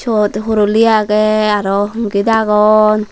ubot horoli agey aro congit agon.